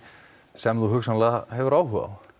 sem þú hugsanlega hefur áhuga á